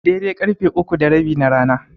Daidai karfe uku da rabi na rana.